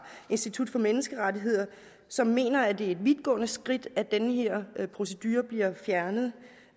institut for menneskerettigheder som mener at det er et vidtgående skridt at den her procedure bliver fjernet